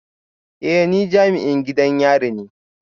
Eh ni jami'in gidan yari ne